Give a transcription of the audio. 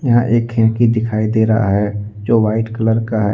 यहां एक खिड़की दिखाई दे रहा है जो वाइट कलर का है।